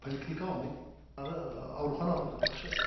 поликлиника алмайды аурухана ақшасы